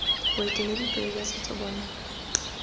boeteledipele jwa setso bo na